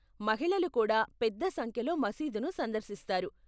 మహిళలు కూడా పెద్ద సంఖ్యలో మసీదును సందర్శిస్తారు.